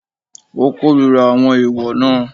Ó kórira àwọn ẹ̀èwọ̀ náà.